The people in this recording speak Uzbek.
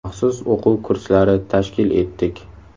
Maxsus o‘quv kurslari tashkil etdik.